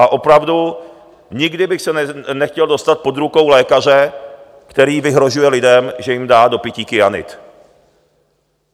A opravdu nikdy bych se nechtěl dostat po ruku lékaře, který vyhrožuje lidem, že jim dá do pití kyanid.